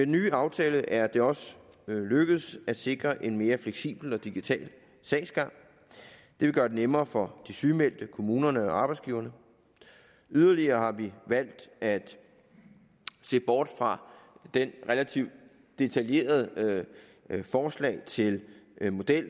nye aftale er det også lykkedes at sikre en mere fleksibel og digital sagsgang det vil gøre det nemmere for de sygemeldte kommunerne og arbejdsgiverne yderligere har vi valgt at se bort fra det relativt detaljerede forslag til model